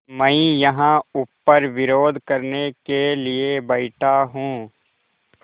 मैं यहाँ ऊपर विरोध करने के लिए बैठा हूँ